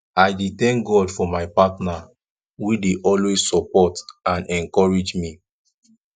i dey thank god for my partner wey dey always support and encourage me